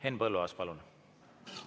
Henn Põlluaas, palun!